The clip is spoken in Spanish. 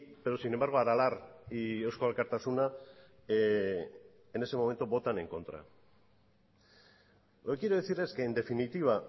pero sin embargo aralar y eusko alkartasuna en ese momento votan en contra lo que quiero decir es que en definitiva